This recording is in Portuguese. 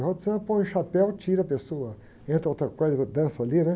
Roda de samba, põe o chapéu, tira a pessoa, entra outra coisa, dança ali, né?